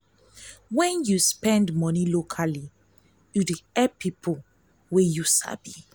try buy from local shops instead of big companies for beta impact.